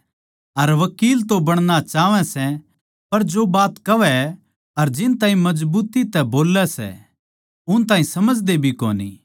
अर वकील तो बणणा चाहवैं सै पर जो बात कहवैं अर जिन ताहीं मजबूती तै बोल्लै सै उन ताहीं समझदे भी कोनी